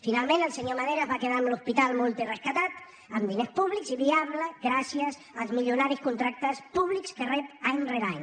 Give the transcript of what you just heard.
finalment el senyor madera es va quedar amb l’hospital multirescatat amb diners públics i viable gràcies als milionaris contractes públics que rep any rere any